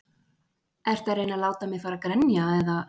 Ertu að reyna að láta mig fara að grenja eða?